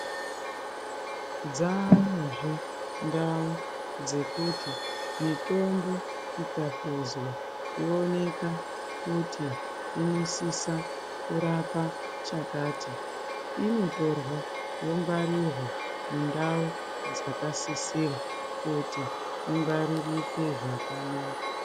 Dzaayozve ndau dzekuti mitombo ikahluzwa yooneka kuti inosisa kurapa chakati inotorwa yongwarirwa mundau dzakasisira kuti ingwaririke zvakanaka.